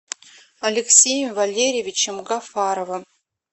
алексеем валерьевичем гафаровым